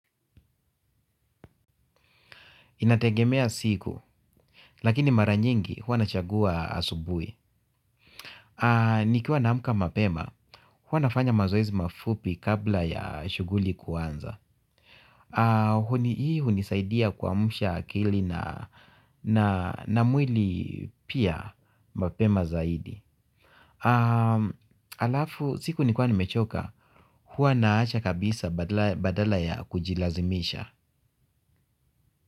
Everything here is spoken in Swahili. Inategemea siku, lakini mara nyingi hua nachagua asubui. Nikiwa naamuka mapema, hua nafanya mazoezi mafupi kabla ya shuguli kuanza. Huni hii hunisaidia kuamsha akili na mwili pia mapema zaidi. Alafu, siku nikuwa ni mechoka, hua naacha kabisa badala ya kujilazimisha.